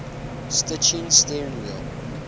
stitching steering wheel